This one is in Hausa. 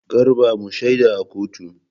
Garba mu shaida a kotu.